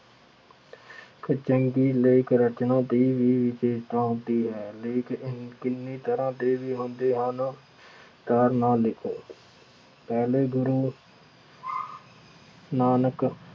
ਚੰਗੀ ਲੇਖ ਰਚਨਾ ਦੀ ਵੀ ਵਿਸ਼ੇਸ਼ਤਾ ਹੁੰਦੀ ਹੈ। ਲੇਖ ਕਈ ਤਰ੍ਹਾਂ ਦੇ ਵੀ ਹੁੰਦੇ ਹਨ। ਧਾਰਮਿਕ ਲੇਖ- ਪਹਿਲੇ ਗੁਰੂ ਨਾਨਕ